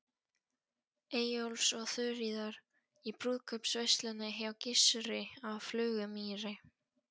Eyjólfs og Þuríðar, í brúðkaupsveisluna hjá Gissuri á Flugumýri.